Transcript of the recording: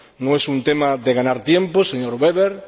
No es un tema de ganar tiempo, señor Weber.